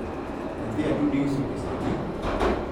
nyathi atudo iuso pesadi?